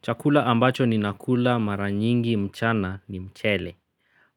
Chakula ambacho ninakula mara nyingi mchana ni mchele.